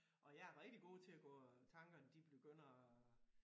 Og jeg er rigtig god til at gå øh tankerne de begynder at